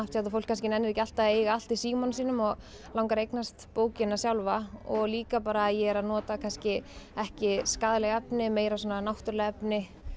fólk kannski nennir ekki alltaf að eiga allt í símanum sínum og langar að eignast bókina sjálfa og líka bara ég er að nota kannski ekki skaðleg efni meira svona náttúruleg efni